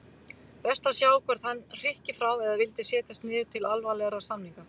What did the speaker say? Best að sjá hvort hann hrykki frá eða vildi setjast niður til alvarlegra samninga.